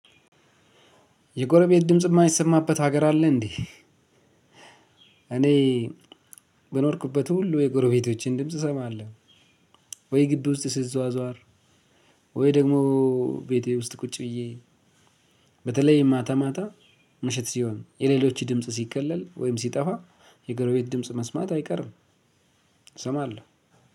የጎረቤት ድምጽ እማይሰማበት ሀገር አለ? እንዴ እኔ በኖርኩበት ሁሉ የጎረቤቶቼን ድምጽ እሰማለሁ። ወይ ግቢ ውስጥ ስዟዟር ወይ ደግሞ ቤቴ ውስጥ ቁጭ ብዬ በተለይ ማታ ማታ ምሽት ሲሆን የሌሎች ድምጽ ሲከለል ወይም ሲጠፋ የጎረቤት ድምጽ መስማት አይቀርም። እሰማለሁ